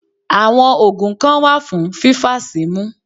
Àwọn ògùn kan wà fún fífàsímú